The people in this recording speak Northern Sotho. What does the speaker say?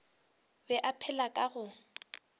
be a phela ka go